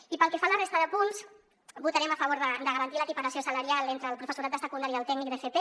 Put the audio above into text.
i pel que fa a la resta de punts votarem a favor de garantir l’equiparació salarial entre el professorat de secundària i el tècnic d’fp